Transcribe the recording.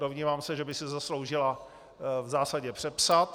Domnívám se, že by si zasloužila v zásadě přepsat.